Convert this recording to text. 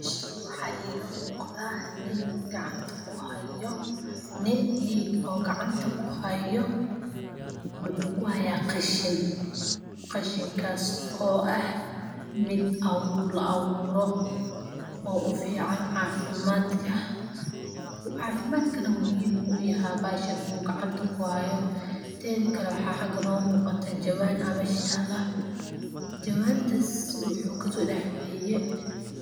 Meshan waxaa iga muqda nin gacanta ku hayo nin oo gacanta ku hayo muxuu ku haya qashin, qashinkas oo ah mid la aburo oo u fican cafimaadka cafimaadkana muhiim ayu uyahay bahashan gacanta u kuhayo tedha kale waxaa xaga noga muqata jawan aa mesh tala jawantas wuxuu kaso dax bixiye